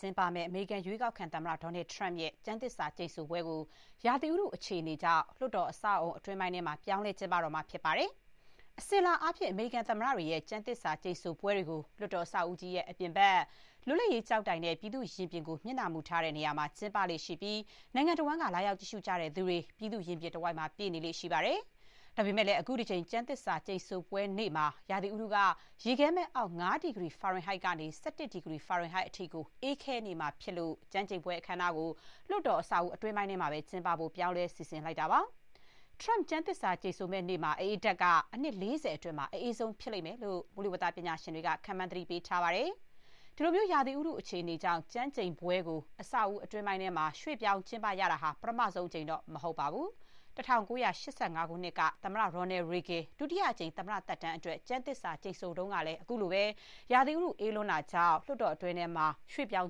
ျင်းပမယ့် အမေရိကန် ရွေးကောက်ခံ သမ္မတ ဒေါ်နယ်ထရမ့်ရဲ့ ကျမ်းသစ္စာ ကျိန်ဆိုပွဲကို ရာသီဥတု အခြေအနေကြောင့် လွှတ်တော် အဆောက်အအုံ အတွင်းပိုင်းမှာ ပြောင်းလဲ ကျင်းပတော့မှာဖြစ်ပါတယ်။ အစဥ်အလာအားဖြင့် အမေရိကန်သမ္မတတွေရဲ့ ကျမ်းသစ္စာ ကျိန်ဆိုပွဲတွေကို လွှတ်တော် အဆောက်အဦကြီးရဲ့ အပြင်ဘက် လွှတ်လပ်ရေးကျောက်တိုင်နဲ့ ပြည်သူ့ရင်ပြင်ကို မျက်နှာမူထားတဲ့ နေရာမှာ ကျင်းပလေ့ရှိပြီး နိုင်ငံတဝန်းက လာရောက် ကြည့်ရှုကြသူတွေ ပြည်သူ့ရင်ပြင်တဝိုက် ပြည့်နေလေ့ရှိပါတယ်။ ဒါပေမဲ့လည်း အခုတကြိမ် ကျမ်းသစ္စာ ကျိန်ဆိုပွဲနေ့မှာ ရာသီဥတုက ရေခဲမှတ်အောက် ၅ ဒီဂရီ ဖာရင်ဟိုက်ကနေ ၁၁ ဒီဂရီ ဖာရင်ဟိုက်အထိ အေးခဲနေမှာဖြစ်လို့ ကျမ်းကျိန်ပွဲ အခမ်းအနားကို လွှတ်တော် အဆောက်အဦကြီးထဲမှာပဲ ကျင်းပဖို့ ပြောင်းလဲ စီစဥ်လိုက်တာပါ။ Trump ကျမ်းသစ္စာ ကျိန်ဆိုမယ့်နေ့မှာ အအေးဓာတ်က အနှစ် ၄၀ အတွင်း အအေးဆုံး ဖြစ်လိမ့်မယ်လို့ မိုးလေဝသ ပညာရှင်တွေက ခန့်မှန်း သတိပေး ထားပါတယ်။ အခုလိုမျိုး ရာသီဥတု အခြေအနေကြောင့် ကျမ်းကျိန်ပွဲကို အဆောက်အဦး အတွင်းပိုင်းကို ရွှေ့ပြောင်း ကျင်းပရတာဟာ ပထမဆုံးအကြိမ်တော့ မဟုတ်ပါဘူး။ ၁၉၈၅ ခုနှစ်က သမ္မတ Ronald Reagan ဒုတိယအကြိမ် သမ္မတ သက်တမ်းအတွက် ကျမ်းသစ္စာ ကျိန်ဆိုတုန်းကလည်း အခုလိုပဲ ရာသီဥတု အေးလွန်းတာကြောင့် အတွင်းကို ရွှေ့ပြောင်